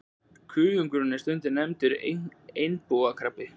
Kuðungakrabbinn er stundum nefndur einbúakrabbi.